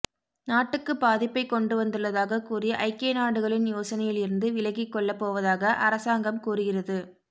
நாட்டுக்கு பாதிப்பை கொண்டு வந்துள்ளதாக கூறி ஐக்கியநாடுகளின் யோசனையில் இருந்து விலகிக்கொள்ளப்போவதாக அரசாங்கம் கூறுகிறது